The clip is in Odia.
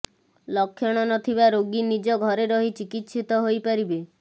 ଲକ୍ଷଣ ନଥିବା ରୋଗୀ ନିଜ ଘରେ ରହି ଚିକିତ୍ସିତ ହୋଇପାରିବେ